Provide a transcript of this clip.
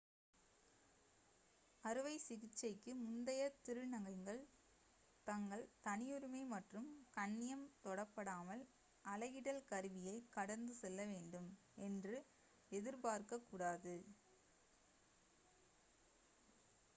அறுவை சிகிச்சைக்கு முந்தைய திருநங்கைகள் தங்கள் தனியுரிமை மற்றும் கண்ணியம் தொடப்படாமல் அலகிடல் கருவியை கடந்து செல்ல வேண்டும் என்று எதிர்பார்க்கக்கூடாது